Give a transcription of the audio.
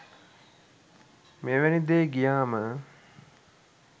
මෙවැනි දේ ගියාම